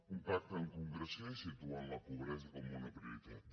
un pacte amb concreció i que situï la pobresa com una prioritat